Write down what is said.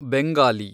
Bengali